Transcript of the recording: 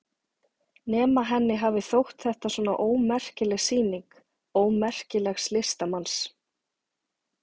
Nema henni hafi þótt þetta svona ómerkileg sýning, ómerkilegs listamanns.